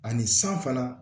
Ani san fana